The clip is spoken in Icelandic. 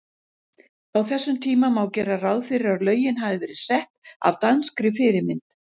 Á þessum tíma má gera ráð fyrir að lögin hafi verið sett af danskri fyrirmynd.